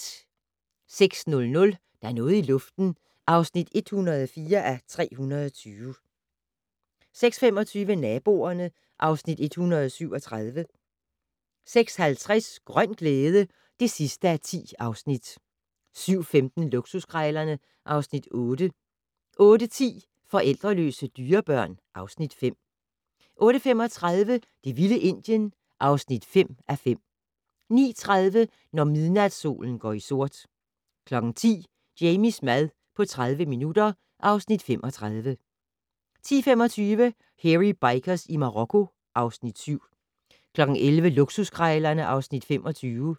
06:00: Der er noget i luften (104:320) 06:25: Naboerne (Afs. 137) 06:50: Grøn glæde (10:10) 07:15: Luksuskrejlerne (Afs. 8) 08:10: Forældreløse dyrebørn (Afs. 5) 08:35: Det vilde Indien (5:5) 09:30: Når midnatssolen går i sort 10:00: Jamies mad på 30 minutter (Afs. 35) 10:25: Hairy Bikers i Marokko (Afs. 7) 11:00: Luksuskrejlerne (Afs. 25)